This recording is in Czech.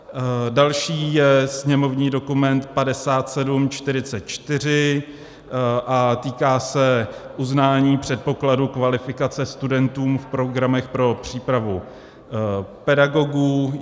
Další je sněmovní dokument 5744 a týká se uznání předpokladu kvalifikace studentům v programech pro přípravu pedagogů.